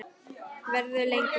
Verður lengur.